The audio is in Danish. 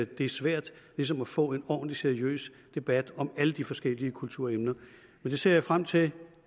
det er svært ligesom at få en ordentlig seriøs debat om alle de forskellige kulturemner men det ser jeg frem til